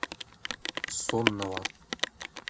соннова